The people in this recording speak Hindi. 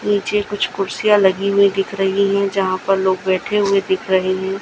नीचे कुछ कुर्सियां लगी हुई दिख रही है जहां पर लोग बैठे हुए दिख रहे हैं।